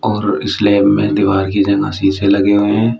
और स्लैब में दीवाल की जगह शीशे लगे हुए हैं।